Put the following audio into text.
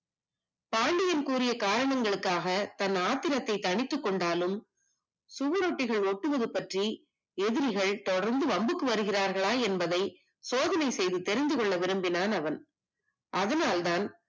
பாண்டியன் கூறிய காரணத்திற்காக தன் கோபத்தை தணித்துக் கொண்டாலும் சுவரொட்டிகள் ஒட்டுவது பற்றி எதிரிகள் தொடர்ந்து வன்புக்கு வருகிறார்களா என்பதை சோதனை செய்து தெரிந்து கொள்ள விரும்பினான் அவன் அதனால் தான்